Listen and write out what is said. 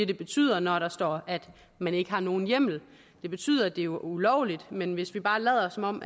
det betyder når der står at man ikke har nogen hjemmel det betyder at det er ulovligt men hvis vi bare lader som om